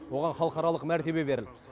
оған халықаралық мәртебе берілді